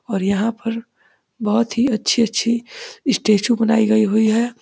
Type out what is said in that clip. और यहाँ पर बहुत ही अच्छी-अच्छी स्टेचू बनाई गई हुई है।